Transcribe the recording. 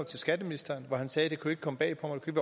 til skatteministeren og han sagde at det ikke kunne komme bag på mig det